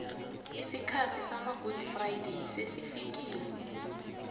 isikhathi samagudi frayideyi sesifikile